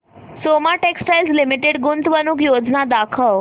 Soma textile limited गुंतवणूक योजना दाखव